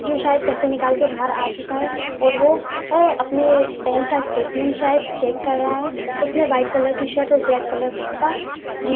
जो शायद पैसे निकाल के बाहर आ चूका है और वो अपने बैंक का स्टेटमेंट शायद चेक कर रहा है उसने वाइट कलर का शर्ट और ब्लैक कलर का जी --